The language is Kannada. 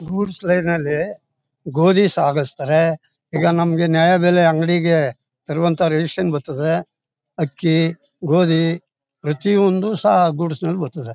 ಗೂಡ್ಸ್ ಟ್ರೈನ್ ನಲ್ಲಿ ಗೋಧಿ ಸಾಗಿಸ್ತಾರೆ ಈಗ ನಮಗೆ ನ್ಯಾಯ ಬೆಲೆ ಅಂಗಡಿಗೆ ತರುವಂತ ರೇಷನ್ ಬರ್ತದೆ. ಅಕ್ಕಿ ಗೋದಿ ಪ್ರತಿಯೊಂದು ಸ ಗೂಡ್ಸ್ ನಲ್ಲಿ ಬರ್ತದೆ.